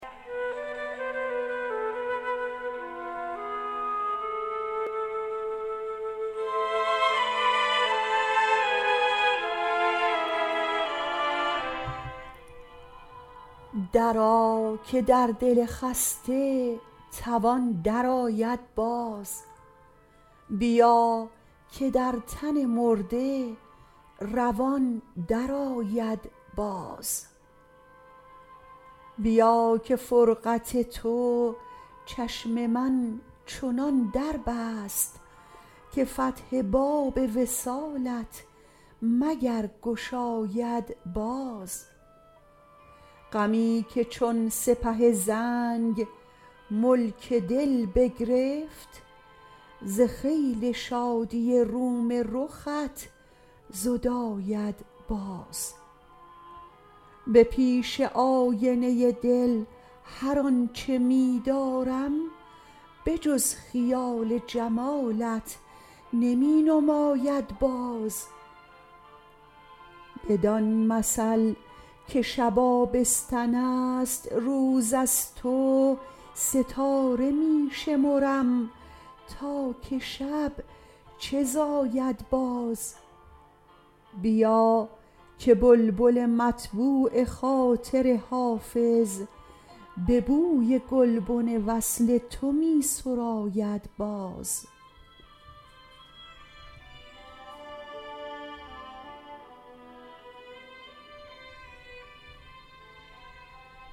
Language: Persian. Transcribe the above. درآ که در دل خسته توان درآید باز بیا که در تن مرده روان درآید باز بیا که فرقت تو چشم من چنان در بست که فتح باب وصالت مگر گشاید باز غمی که چون سپه زنگ ملک دل بگرفت ز خیل شادی روم رخت زداید باز به پیش آینه دل هر آن چه می دارم به جز خیال جمالت نمی نماید باز بدان مثل که شب آبستن است روز از تو ستاره می شمرم تا که شب چه زاید باز بیا که بلبل مطبوع خاطر حافظ به بوی گلبن وصل تو می سراید باز